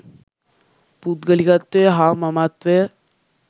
පුද්ගලිකත්වය හා මමත්වය